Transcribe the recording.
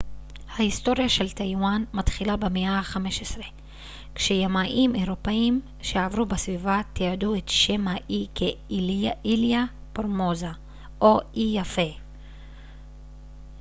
ההיטוריה של טייוואן מתחילה במאה ה-15 כשימאים אירופאים שעברו בסביבה תיעדו את שם האי כ איליה פורמוזה או אי יפה